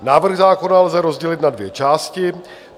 Návrh zákona lze rozdělit na dvě části.